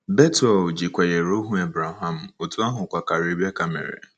Bethel ji kwenyere ohu Abraham, otú ahụkwa ka Rebecca mere.